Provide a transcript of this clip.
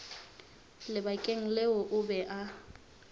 lebakeng leo o be a